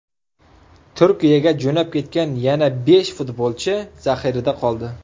Turkiyaga jo‘nab ketgan yana besh futbolchi zaxirada qoldi.